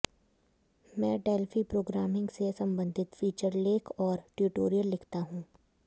मैं Delphi programming से संबंधित फीचर लेख और ट्यूटोरियल लिखता हूं